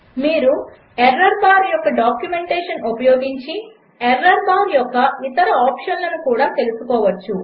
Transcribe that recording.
మీరు error bar యొక్క documentation ఉపయోగించి ఎర్రర్ బార్ యొక్క ఇతర ఆప్షన్లను కూడ తెలుసుకోవచ్చు